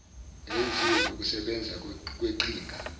eyenziwe ngokusebenza kweqhinga